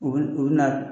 U bɛ u bɛ na